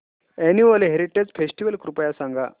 annual heritage festival कृपया सांगा